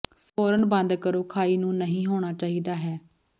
ਫੌਰਨ ਬੰਦ ਕਰੋ ਖਾਈ ਨੂੰ ਨਹੀਂ ਹੋਣਾ ਚਾਹੀਦਾ ਹੈ